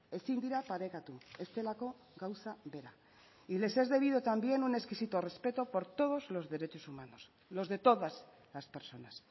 ezin dira parekatu ez delako gauza bera y les es debido también un exquisito respeto por todos los derechos humanos los de todas las personas